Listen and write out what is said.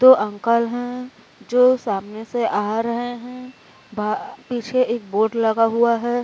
दो अंकल है जो सामने से आ रहे हैं। बा पीछे एक बोर्ड लगा हुआ है।